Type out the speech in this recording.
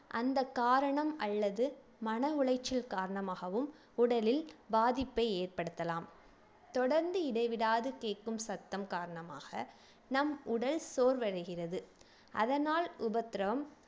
அந்தக் காரணம் அல்லது மன உளைச்சல் காரணமாகவும் உடலில் பாதிப்பை ஏற்படுத்தலாம் தொடர்ந்து இடைவிடாது கேக்கும் சத்தம் காரணமாக நம் உடல் சோர்வடைகிறது அதனால் உபத்திரம்